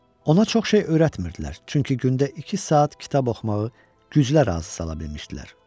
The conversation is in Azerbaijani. Ona çox şey öyrətmirdilər, çünki gündə iki saat kitab oxumağı güclə razı sala bilmişdilər.